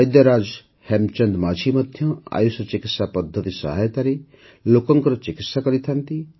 ବୈଦ୍ୟରାଜ ହେମଚନ୍ଦ ମାଂଝୀ ମଧ୍ୟ ଆୟୁଷ ଚିକିତ୍ସା ପଦ୍ଧତି ସହାୟତାରେ ଲୋକଙ୍କର ଚିକିତ୍ସା କରିଥାନ୍ତି